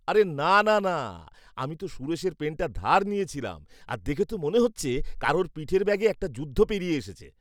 আরে না, না, না! আমি তো সুরেশের পেনটা ধার নিয়েছিলাম, আর দেখে তো মনে হচ্ছে কারুর পিঠের ব্যাগে একটা যুদ্ধ পেরিয়ে এসেছে।